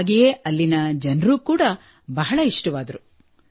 ಹಾಗೆಯೇ ಅಲ್ಲಿನ ಜನರು ಕೂಡಾ ಬಹಳ ಇಷ್ಟವಾದರು